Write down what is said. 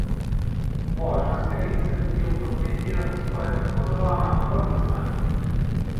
Vožnja s terencem je v Prokletijah skoraj tako zabavna kot veslanje.